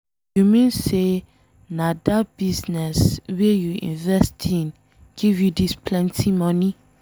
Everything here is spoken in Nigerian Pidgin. You mean say na dat business wey you invest in give you dis plenty money.